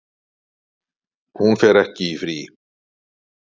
Hún fer ekki í frí.